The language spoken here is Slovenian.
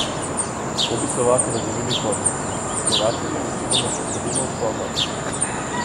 To bi Slovaki razumeli kot: "Slovakinje večinoma šotorimo v sobah.